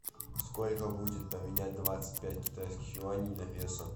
сколько будет поменять двадцать пять китайских юаней на песо